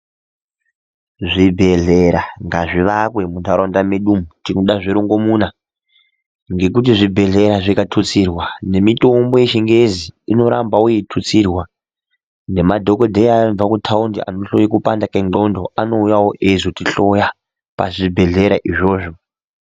Zvibhehlera ngazvivakwe muntaraunda medu umo tinoda zvirongomuna, ngekuti zvibhehlera zvikatutsirwa nemitombo yechingezi inorambawo yeitutsirwa nemadhokodheya anobva kutaundi anohloye kupande kwendxondo anouya eizotihloya pazvibhedhera izvozvo.